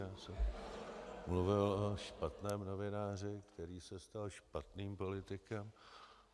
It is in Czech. Já jsem mluvil o špatném novináři, který se stal špatným politikem.